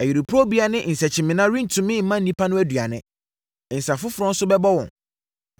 Ayuporobea ne nsakyimena rentumi mma nnipa no aduane; nsã foforɔ nso bɛbɔ wɔn.